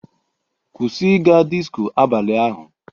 Kwụsị ịga disko abalị ahu